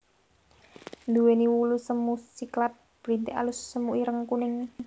Nduwéni wulu semu siklat brintik alus semu ireng kuning